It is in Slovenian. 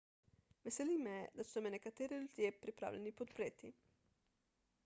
veseli me da so me nekateri ljudje pripravljeni podpreti